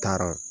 Taara